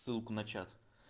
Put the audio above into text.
ссылку на чат